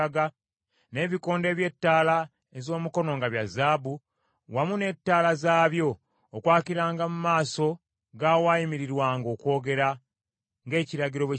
n’ebikondo eby’ettaala ez’omukono nga bya zaabu, wamu ne ttaala zaabyo, okwakiranga mu maaso g’awaayimirirwanga okwogera, ng’ekiragiro bwe kyali,